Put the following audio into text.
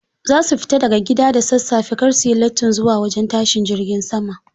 Za su fita daga gida da sassafe kar su yi lattin zuwa wajen tashin jirgin sama.